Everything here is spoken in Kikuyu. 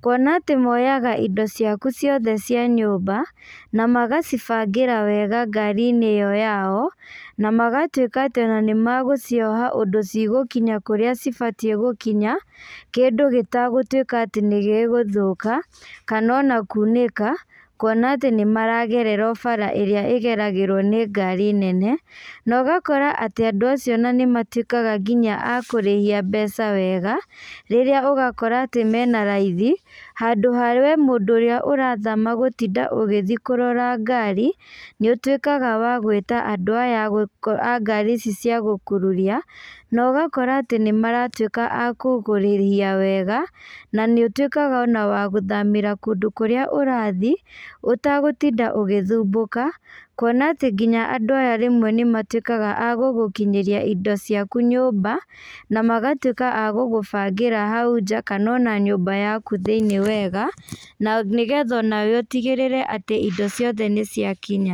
kuona atĩ moyaga indo ciaku ciothe cia nyũmba, na magacibangĩra wega ngari-inĩ ĩyo yao, na magatuĩka atĩ ona nĩ magũcioha ũndũ cigũkinya kũrĩa cibatiĩ gũkinya, kĩndũ gĩtagũtuĩka atĩ nĩ gĩgũthũka, kana ona kunĩka, kuona atĩ nĩ maragerera o bara ĩrĩa ĩgeragĩrwo nĩ ngari nene. Na ũgakora atĩ andũ acio ona nĩ matuĩkaga nginya a kũrĩhia mbeca wega, rĩrĩa ũgakora atĩ mena raithi, handũ ha we mũndũ ũrĩa ũrathama gũtinda ũgĩthi kũrora ngari, nĩ ũtuĩkaga wa gwĩta andũ aya a ngari ici cia gũkururia, na ũgakora atĩ nĩ maratuĩka a kũgũkũrĩhia wega, na nĩ ũtuĩkaga ona wa gũthamĩra kũndũ kũrĩa ũrathi, ũtagũtinda ũgĩthumbũka. Kuona atĩ nginya andũ aya rĩmwe nĩ matuĩkaga a gũgũkinyĩria indo ciaku nyũmba, na magatuĩka a gũgũbangĩra hau nja, kana ona nyũmba yaku thĩiniĩ wega, na nĩgetha onawe ũtigĩrĩre atĩ indo ciothe nĩ ciakinya.